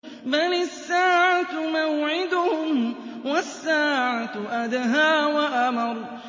بَلِ السَّاعَةُ مَوْعِدُهُمْ وَالسَّاعَةُ أَدْهَىٰ وَأَمَرُّ